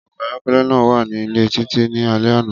Ọkọ ayọkẹlẹ naa wa ni ile Titi ni alẹ ana.